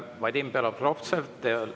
Vadim Belobrovtsev.